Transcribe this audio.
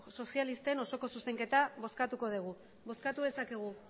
sozialisten osoko zuzenketa bozkatuko dugu bozkatu dezakegu